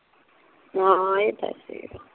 ਹਾਂ ਏ ਤੇ ਹੈ ਸੀ ਗਾ